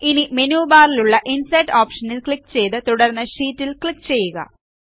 ഇനി മെനു ബാറിലുള്ള ഇൻസെർട്ട് ഓപ്ഷനിൽ ക്ലിക്ക് ചെയ്ത് തുടർന്ന് ഷീറ്റ് ൽ ക്ലിക്ക് ചെയ്യുക